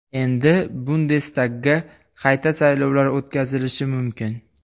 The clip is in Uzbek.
Endi Bundestagga qayta saylovlar o‘tkazilishi mumkin.